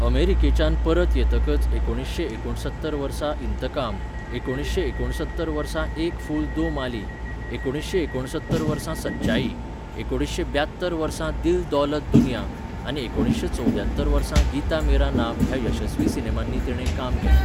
अमेरिकेच्यान परत येतकच एकुणीसशें एकूणसत्तर वर्सा इंतकाम, एकुणीसशें एकूणसत्तर वर्सा एक फूल दो माली, एकुणीसशें एकूणसत्तर वर्सा सचाई, एकुणीसशें ब्यात्तर वर्सा दिल दौलत दुनिया आनी एकुणीसशें चौद्यात्तर वर्सा गीता मेरा नाम ह्या यशस्वी सिनेमांनी तिणें काम केलें.